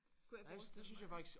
Kunne jeg forestille mig